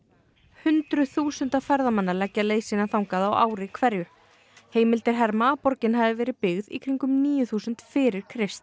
hundruð þúsunda ferðamanna leggja leið sína þangað á ári hverju heimildir herma að borgin hafi verið byggð í kringum árið níu þúsund fyrir Krist